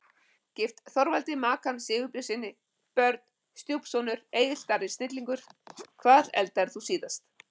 Gift Þorvaldi Makan Sigbjörnssyni Börn: Stjúpsonur Egill Darri snillingur Hvað eldaðir þú síðast?